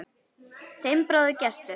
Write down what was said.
Þinn bróðir, Gestur.